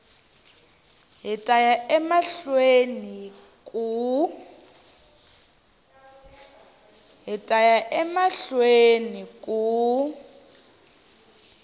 hi ta ya emahlweni ku